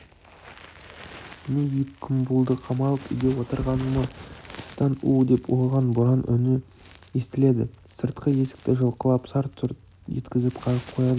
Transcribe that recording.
міне екі күн болды қамалып үйде отырғаныма тыстан у-у деп ұлыған боран үні естіледі сыртқы есікті жұлқылап сарт-сұрт еткізіп қағып қояды